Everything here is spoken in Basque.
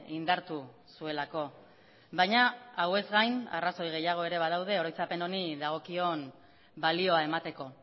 indartu zuelako baina hauez gain arrazoi gehiago ere badaude oroitzapen honi dagokion balioa emateko